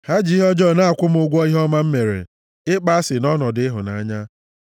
Ha ji ihe ọjọọ na-akwụ m ụgwọ ihe ọma m mere, ịkpọ asị nʼọnọdụ ịhụnanya.